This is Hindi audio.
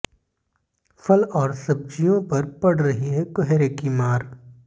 फल और सब्ज़ियों पर पड़ रही है कोहरे की मार